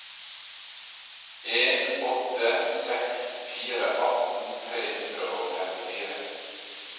en åtte seks fire atten tre hundre og trettifire